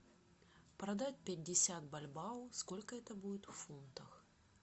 продать пятьдесят бальбоа сколько это будет в фунтах